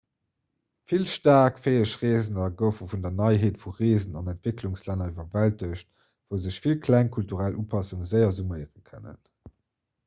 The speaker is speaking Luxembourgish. vill staark fäeg reesender goufe vun der neiheet vu reesen an entwécklungslänner iwwerwältegt wou sech vill kleng kulturell upassunge séier summéiere kënnen